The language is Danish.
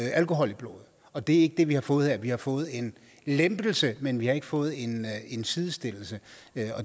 alkohol i blodet og det er ikke det vi har fået her vi har fået en lempelse men vi har ikke fået en en sidestillelse